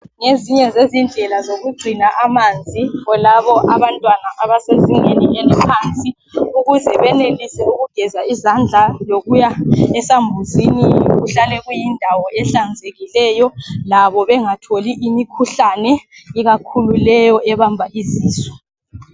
Ngezinye zezindlela zokugcina amanzi kulabo abantwana abasezingeni eliphansi ukuze benelise ukugeza izandla lokuya esambuzini kuhlale kuyindawo ehlanzekileyo .Labo bengatholi imikhuhlane ikakhulu leyo ebamba izisu